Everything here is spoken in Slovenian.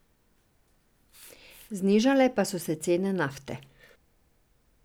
Znižale pa so se cene nafte.